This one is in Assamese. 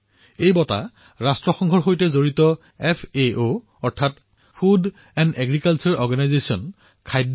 এই বঁটা সংযুক্ত ৰাষ্ট্ৰৰ সৈতে জড়িত এফ এ অ অৰ্থাৎ ফুড এণ্ড এগ্ৰিকালটোৰে অৰ্গেনাইজেশ্যন ৰ তৰফৰ পৰা প্ৰদান কৰা হয়